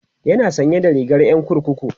yana sanye da rigar Yan kurkuku